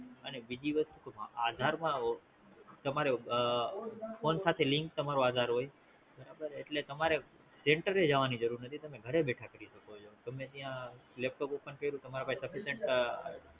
અને બીજી વસ્તુ આધારમાં તમારે phone સાથે link તમારું આધાર હોય એટલે તમારે Center જવાની જરૂર નથી તમે ઘરે બેઠા કરી શકો છો ગમે ત્યાં laptop ઓપન કયૃ તમારા પાસે